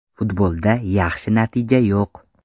Futbolda yaxshi natija yo‘q.